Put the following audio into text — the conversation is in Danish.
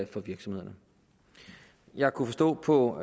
for virksomhederne jeg kunne forstå på